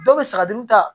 Dɔw bɛ saga dun ta